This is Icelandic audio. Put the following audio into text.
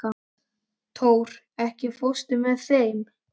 Tór, ekki fórstu með þeim?